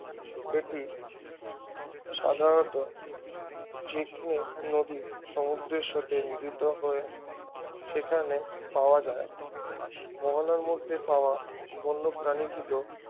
এটি সাধারণত যেখানে নদী সমুদ্রের সাথে মিলিত হয়ে সেখানে পাওয়া যায় মোহনার মধ্যে পাওয়া বন্য প্রাণীগুলো